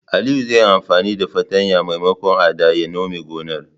Aliyu zai yi anfani da fartanyar maimakon adda ya nome gonar.